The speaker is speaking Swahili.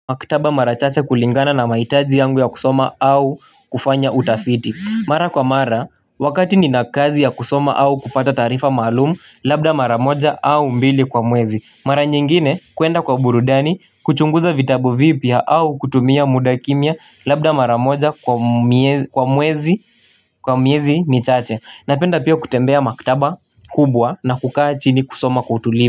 Maktaba mara chache kulingana na mahitaji yangu ya kusoma au kufanya utafiti Mara kwa mara wakati nina kazi ya kusoma au kupata taarifa maalumu labda mara moja au mbili kwa mwezi Mara nyingine kwenda kwa burudani kuchunguza vitabu vipya au kutumia muda kimya labda mara moja kwa mwezi kwa miezi michache Napenda pia kutembea maktaba kubwa na kukaa chini kusoma kutulia.